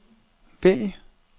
vælg